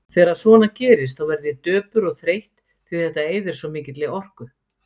Þegar svona gerist þá verð ég döpur og þreytt, því þetta eyðir svo mikilli orku.